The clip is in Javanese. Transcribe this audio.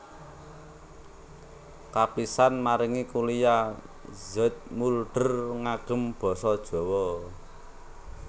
Kapisan maringi kuliah Zoetmulder ngangem basa Jawa